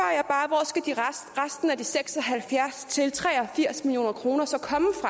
resten af de seks og halvfjerds til tre og firs million kroner så